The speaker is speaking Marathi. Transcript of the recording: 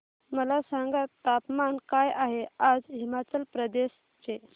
मला सांगा तापमान काय आहे आज हिमाचल प्रदेश चे